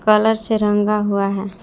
Colour से रंगा हुआ है।